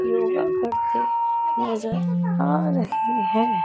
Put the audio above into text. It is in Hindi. योगा करते नजर आ रहे हैं।